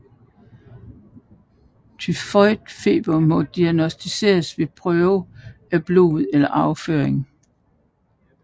Tyfoidfeber må diagnosticeres ved prøver af blod eller afføring